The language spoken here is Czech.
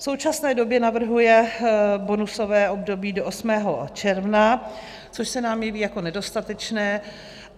V současné době navrhuje bonusové období do 8. června, což se nám jeví jako nedostatečné.